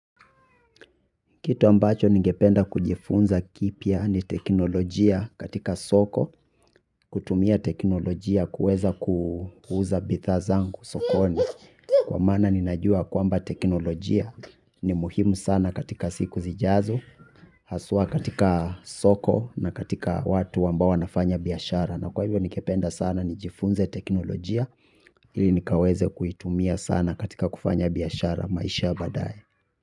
Kitu ambacho ningependa kujifunza kipya ni teknolojia katika soko, kutumia teknolojia kuweza kuuza bidhaa zangu sokoni. Kwa maana ninajua kwamba teknolojia ni muhimu sana katika siku zijazo, haswa katika soko na katika watu ambao wanafanya biashara. Na kwa hivyo ningependa sana nijifunze teknolojia ili nikaweze kuitumia sana katika kufanya biashara maisha ya baadaye.